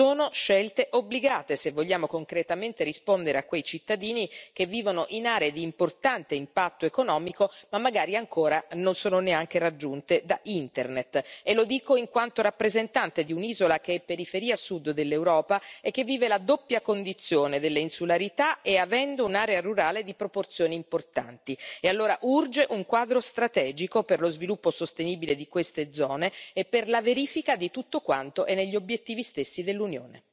Sono scelte obbligate, se vogliamo concretamente rispondere a quei cittadini che vivono in aree di importante impatto economico, ma magari ancora non sono neanche raggiunte da internet, e lo dico in quanto rappresentante di un'isola che è periferia sud dell'Europa e che vive la doppia condizione dell'insularità e avendo un'area rurale di proporzioni importanti, e allora urge un quadro strategico per lo sviluppo sostenibile di queste zone, e per la verifica di tutto quanto è negli obiettivi stessi dell'Unione.